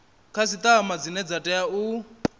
khasiṱama dzine dza tea u